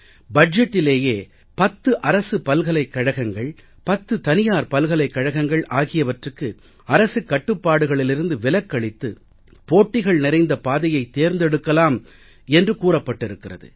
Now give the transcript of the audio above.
பட்ஜெட்டிலேயே பத்து அரசு பல்கலைக்கழகங்கள் பத்து தனியார் பல்கலைக்கழகங்கள் ஆகியவற்றுக்கு அரசுக் கட்டுப்பாடுகளிலிருந்து விலக்களித்து போட்டிகள் நிறைந்த பாதையைத் தேர்ந்தெடுக்கலாம் என்று கூறப்பட்டிருக்கிறது